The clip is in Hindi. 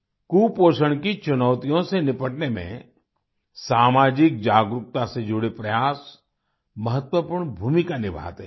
कुपोषण की चुनौतियों से निपटने में सामाजिक जागरूकता से जुड़े प्रयास महत्वपूर्ण भूमिका निभाते हैं